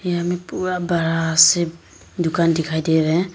यहाँ मे पूरा बड़ा से दुकान दिखाई दे रहे--